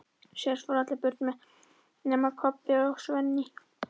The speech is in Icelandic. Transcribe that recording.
Síðan fóru allir burt nema Kobbi og Svenni.